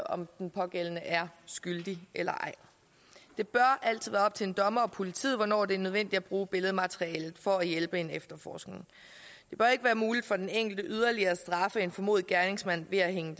om den pågældende er skyldig eller ej det bør altid være op til en dommer og politiet hvornår det er nødvendigt at bruge billedmaterialet for at hjælpe en efterforskning det bør ikke være muligt for den enkelte yderligere at straffe en formodet gerningsmand ved at hænge